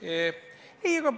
Aitäh!